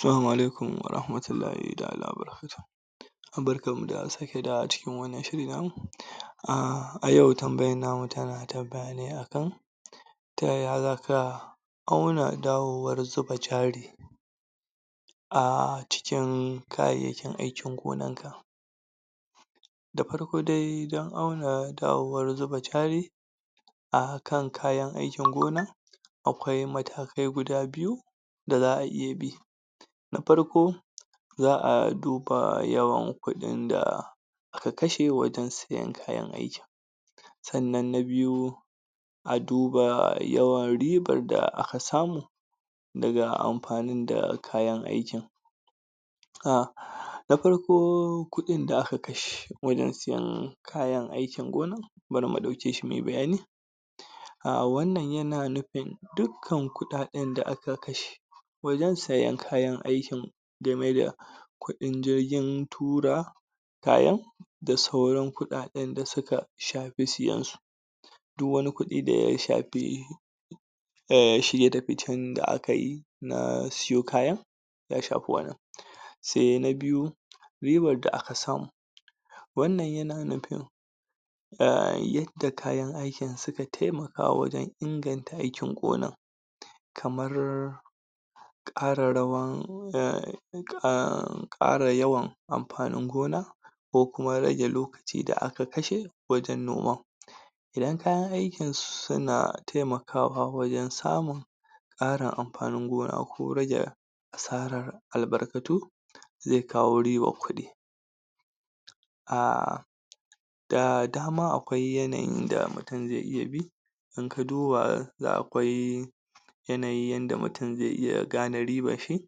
Salamu alaikum warahmatullahi taʼala wa barkatuhu barkanmu da sake dawowa cikin wannan shiri namu. Yau tambayar tamu ta tsaya ne akan ta yaya za ka auna dawowan zuba jari a cikin kayayyakin aikin gonanka? Da farko dai don auna dawowar zuba jari a kan kayan aikin gona, akwai matakai guda biyu da za a iya bi. Na farko, za a duba yawan kuɗin da aka kashe wajen sayen kayan aikin, sannan na biyu a duba yawan riban da aka samu daga amfani da kayan aikin. Na farko kudin da aka kashe wajen sayen kayan aikin gonan, bari mu dauke shi muyi bayani Wannan yana nufin dukkan kuɗaɗen da aka kashe wajen sayen kayan aikin game da kuɗin jirgin tura kayan da sauran kuɗaɗen da suka shafi sayen su, duk wani kudi da ya shafi shige da ficen da akayi um siyo kayan ya shafi wannan. Sai na biyu, ribar da aka samu wannan yana nufin yadda kayan aikin suka taimaka wajen inganta aikin gona kamar kara yawan um kara yawan amfanin gona ko kuma rage lokaci da aka kashe wajen noma Idan kayan aikin suna taimakawa wajen samun ƙarin amfanin gona ko rage asarar albarkatu zai kawo ribar kuɗi, um da dama akwai yadda mutum zai iya bi ka duba da akwai yanayin yanda mutum zai iya gane ribar shi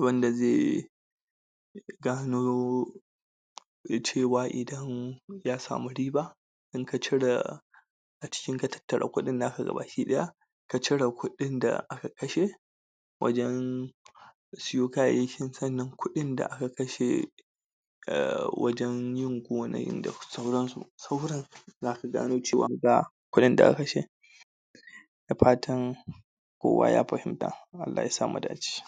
wanda zai gano ya samu riba in ka cire a ciki in ka tattare kuɗin naka gaba ɗaya cire kudin da aka kashe wajen siyo kayayyaki sannan kudin da aka kashe wajen yin gonan gano cewa kudin da aka kashe da fatan kowa ya fahimta Allah yasa mu dace.